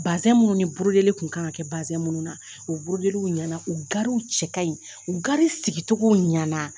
minnu ni kun kan ka kɛ minnu na, u ɲɛna, u garirw cɛ kaɲi, u gariw sigicogow ɲana